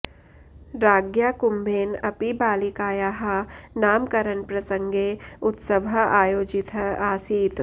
राज्ञा कुम्भेन अपि बालिकायाः नामकरणप्रसङ्गे उत्सवः आयोजितः आसीत्